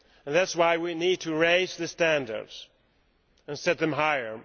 That is why we need to raise standards and set them higher.